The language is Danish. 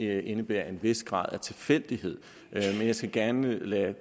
det indebærer en vis grad af tilfældighed men jeg skal gerne lade